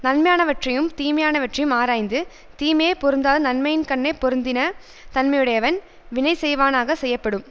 நன்மையானவற்றையும் தீமையானவற்றையும் ஆராய்ந்து தீமையை பொருந்தாது நன்மையின்கண்ணே பொருந்தின தன்மையுடையவன் வினை செய்வானாக செய்யப்படும்